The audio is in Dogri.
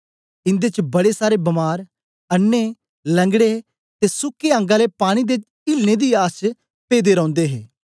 ईनदे च बड़े सारे बीमार अन्नें लंगड़े ते सुके अंग आले पानी दे इलने दी आस च पेदे रौंदे हे